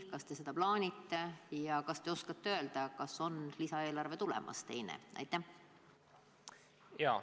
Kas te seda plaanite ja kas te oskate ka öelda, kas on teine lisaeelarve tulemas?